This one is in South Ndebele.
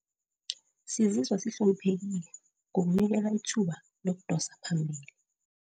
Sizizwa sihloniphekile ngokunikelwa ithuba lokudosa phambili